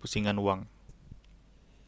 pusingan wang